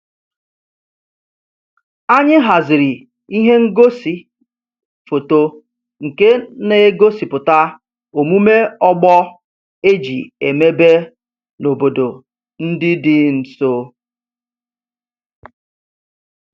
Anyị haziri ihe ngosi foto nke na-egosipụta omume ọgbọ e ji emebe n'obodo ndị dị nso